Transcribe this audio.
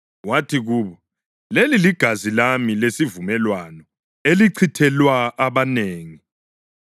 Wathi kubo, “Leli ligazi lami lesivumelwano, elichithelwa abanengi.